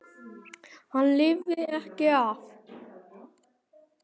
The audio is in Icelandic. Hann lifði ekki af.